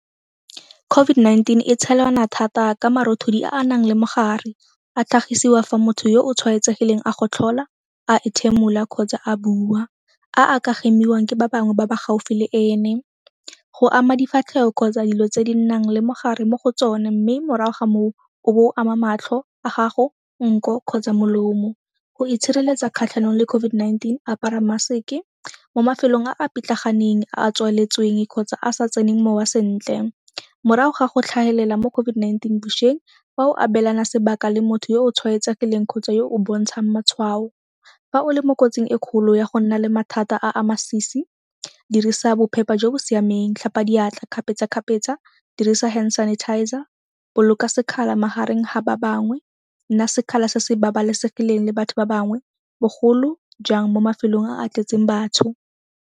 COVID-19 e tshelana thata ka marothodi a a nang le mogare. A tlhagisiwa fa motho yo o tshwaetsegileng a gotlhola, a ethimola kgotsa a bua, a a ka hemiwang ke ba bangwe ba ba gaufi le ene. Go ama difatlhego kgotsa dilo tse di nang le mogare mo go tsone mme morago ga moo o bo o ama matlho a gago nko kgotsa molomo. Go itshireletsa kgatlhanong le COVID-19 apara mask-e mo mafelong a a pitlaganeng a a tswaletsweng kgotsa a sa tseneng mowa sentle. Morago ga go tlhagelela mo COVID-19 bošweng fa o abelana sebaka le motho yo o tshwaetsegileng kgotsa yo o bontshang matshwao. Fa o le mo kotsing e kgolo ya go nna le mathata a a masisi dirisa bophepa jo bo siameng, tlhapa diatla kgapetsa-kgapetsa, dirisa hand sanitizer, boloka sekgala magareng ga ba bangwe, nna sekgala se se babalesegileng le batho ba bangwe bogolo jang mo mafelong a a tletseng batho.